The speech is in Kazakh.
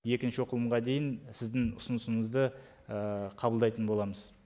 екінші оқылымға дейін сіздің ұсынысыңызды қабылдайтын боламыз